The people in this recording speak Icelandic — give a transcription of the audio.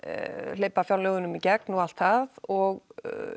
hleypa fjárlögunum í gegn og allt það og